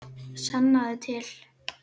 Sannaðu til.